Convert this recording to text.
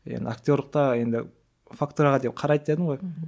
енді актерлікке енді фактураға деп қарайды дедім ғой мхм